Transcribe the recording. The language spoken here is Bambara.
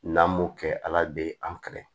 N'an m'o kɛ ala de ye an kɛlɛ